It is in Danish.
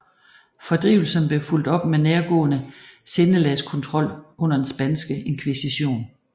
Fordrivelsen blev fulgt op med nærgående sindelagskontrol under den spanske inkvisition